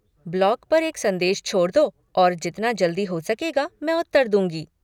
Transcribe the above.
Blog पर एक संदेश छोड़ दो और जितना जल्दी हो सकेगा मैं उत्तर दूँगी।